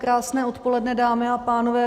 Krásné odpoledne, dámy a pánové.